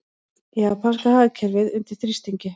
Japanska hagkerfið undir þrýstingi